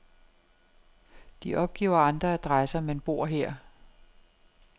De opgiver andre adresser, men bor her.